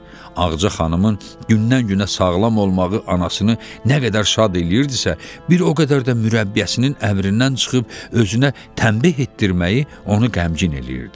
Ağca xanımın gündən-günə sağlam olmağı anasını nə qədər şad eləyirdisə, bir o qədər də mürəbbiyəsinin əmrindən çıxıb özünə tənbəh etdirməyi onu qəmgin eləyirdi.